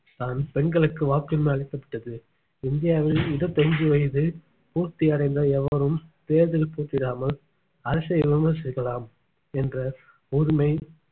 தான் பெண்களுக்கு வாக்குரிமை அளிக்கப்பட்டது இந்தியாவில் இருபத்தி ஐந்து வயசு பூர்த்தி அடைந்த எவரும் தேர்தல் அரசை விமர்சிக்கலாம் என்ற உரிமை